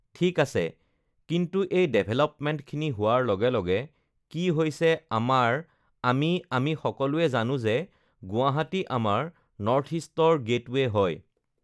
ঠিক আছে, কিন্তু এই ডেভেলপমেণ্টখিনি হোৱাৰ লগে লগে কি হৈছে আমাৰ আমি আমি সকলোৱে জানোঁ যে গুৱাহাটী আমাৰ নৰ্থ ইষ্টৰ গেটৱে হয়